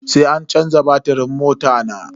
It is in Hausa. Sai an canza batirin mota na.